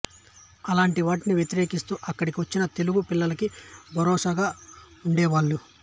అలాంటి వాటిని వ్యతిరేకిసూ అక్కడికి వచ్చిన తెలుగు పిల్లలకి భరోసాగా వుండేవాళ్ళు